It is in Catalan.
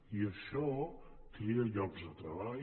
i això crea llocs de treball